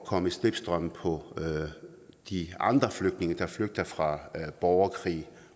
komme i slipstrømmen på de andre flygtninge der flygter fra borgerkrig